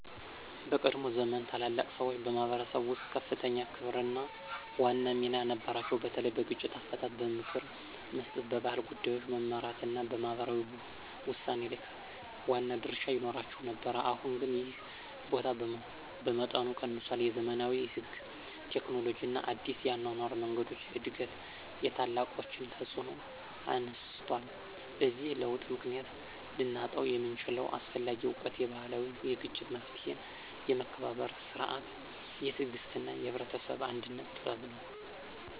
በቀድሞ ዘመን ታላላቅ ሰዎች በማኅበረሰብ ውስጥ ከፍተኛ ክብርና ዋና ሚና ነበራቸው፤ በተለይ በግጭት አፈታት፣ በምክር መስጠት፣ በባህል ጉዳዮች መመራት እና በማህበራዊ ውሳኔ ላይ ዋና ድርሻ ይኖራቸው ነበር። አሁን ግን ይህ ቦታ በመጠኑ ቀንሷል፤ የዘመናዊ ሕግ፣ ቴክኖሎጂ እና አዲስ የአኗኗር መንገዶች እድገት የታላቆችን ተፅዕኖ አነስቷል። በዚህ ለውጥ ምክንያት ልናጣው የምንችለው አስፈላጊ እውቀት የባህላዊ የግጭት መፍትሔ፣ የመከባበር ሥርዓት፣ የትዕግሥት እና የህብረተሰብ አንድነት ጥበብ ነው።